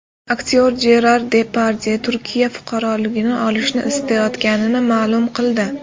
Aktyor Jerar Depardye Turkiya fuqaroligini olishni istayotganini ma’lum qildi.